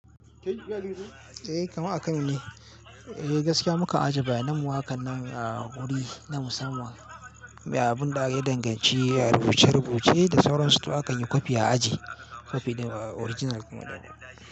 Kaman a kamuni, gaskiya muka ajiye bayanan mu hakannan a wuri na musamman. Abun da ya danganci a rubuce rubuce da sauran su toh akan yi kwafi a aji. Kwafi original.